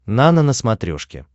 нано на смотрешке